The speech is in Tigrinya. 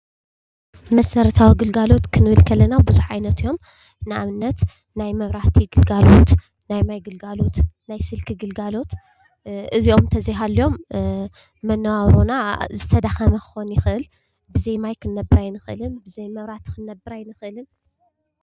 መሰረታዊ ኣገልግሎታት ክንብል ከለና ቡዙሕ ዓይነት እዮም። ንኣብነት ናይ መብራህቲ ግልጋሎት፣ ናይ ማይ ግልጋሎት ፣ናይ ስልኪ ግልጋሎት እዚኦም ተዘይሃልዮም መናባብሮና ዝተዳከመ ክከውን ይክአል። ብዘይ ማይ ክንነብር ኣይንክእልን ብዘይ መብራህቲ ክንነብር ኣይንክእልን።